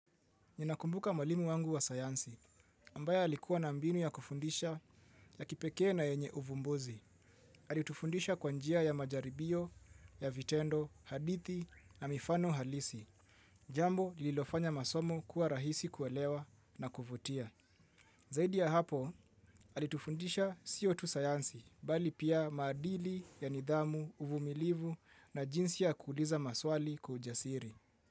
Ninakumbuka mwalimu wangu wa sayansi, ambaye alikuwa na mbinu ya kufundisha ya kipekee na yenye uvumbuzi. Alitufundisha kwa njia ya majaribio, ya vitendo, hadithi na mifano halisi. Jambo lililofanya masomo kuwa rahisi kuelewa na kuvutia. Zaidi ya hapo, alitufundisha sio tu sayansi, bali pia maadili ya nidhamu, uvumilivu na jinsi ya kuuliza maswali kwa ujasiri.